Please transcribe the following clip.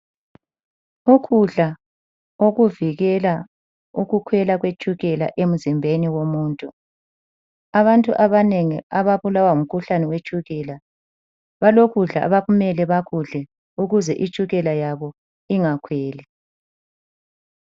Ukudla okuvikela ukukhwela kwetshukela emzimbeni womuntu. Abantu abanengi ababulawa ngumkhuhlane wetshukela, balokudla abakumele bakudle ukuze itshukela yabo ingakhweli.